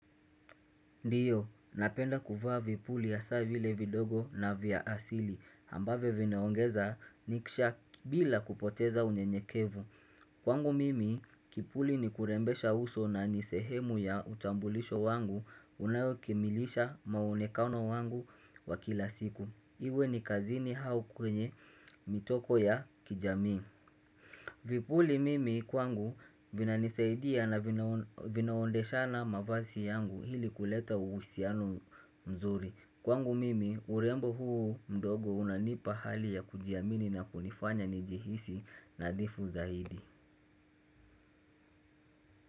Ndiyo, napenda kuvaa vipuli ya saa vile vidogo na vya asili ambavyo vinaongeza niksha bila kupoteza unyenyekevu. Kwangu mimi, kipuli ni kurembesha uso na nisehemu ya utambulisho wangu unayo kimilisha maonekano wangu wa kila siku. Iwe ni kazini au kwenye mitoko ya kijami. Vipuli mimi kwangu vinanisaidia na vina vinaondeshana mavazi yangu ili kuleta uhusiano mzuri kwangu mimi urembo huu mdogo unanipa hali ya kujiamini na kunifanya njihisi nadhifu zaidi.